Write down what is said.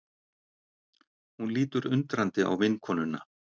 Hún lítur undrandi á vinkonuna.